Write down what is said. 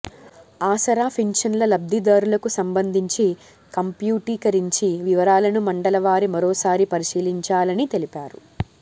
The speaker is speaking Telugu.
ఆసరా పింఛన్ల లబ్దిదారులకు సంబంధింఛి కంప్యూటీకరించి వివరాలను మండల వారిగా మరోసారి పరిశీలించాలని తెలిపారు